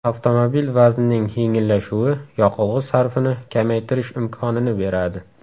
Avtomobil vaznining yengillashuvi yoqilg‘i sarfini kamaytirish imkonini beradi.